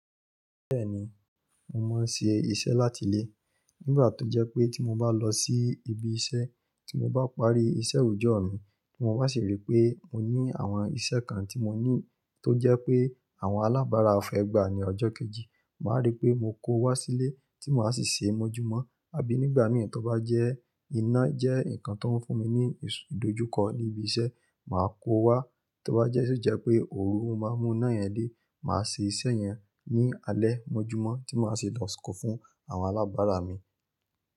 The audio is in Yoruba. Bẹ́ẹ̀ni, mo máa ń ṣe iṣẹ́ láti ilé. Nígbà tó jẹ́ pé tí mo bá lọ sí ibi iṣẹ́, tí mo bá parí iṣẹ́ òòjọ́ mi, tí mo bá sì rí pé mo ní àwọn iṣẹ́ kan tí mo ní tó jẹ́ pé àwọn alábàárà fẹ́ gbà ní ọjọ́ kejì, màá rí pé mo kó ó wá sílé tí mo máa sì ṣe mọ́júmọ́. Àbí nígbà mìíràn tó bá jẹ́ iná jẹ́ nǹkan tó ń fún mi ní ìdojúkọ ní ibi iṣẹ́, màá kó o wá. Tí ó bá jẹ́ ṣi jẹ́ pé òru, lo máa mú iná yẹn dé, màá ṣe iṣẹ́ yẹn ní alẹ́ mọ́júmọ́ tí màá sì lò kò fún àwọn alábàárà mi.